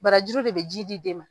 Barajuru de bɛ ji di den ma.